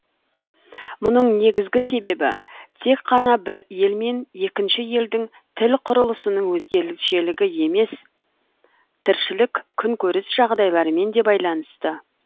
мұның негізгі себебі тек қана бір ел мен екінші елдің тіл құрылысының өзгешелігі емес тіршілік күнкөріс жағдайларымен де байланысты